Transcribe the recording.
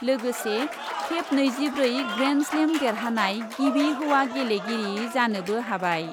लोगोसे खेब नैजिब्रै ग्रेन्डस्लेम देरहानाय गिबि हौवा गेलेगिरि जानोबो हाबाय।